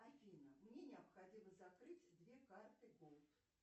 афина мне необходимо закрыть две карты голд